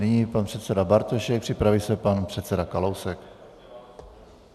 Nyní pan předseda Bartošek, připraví se pan předseda Kalousek.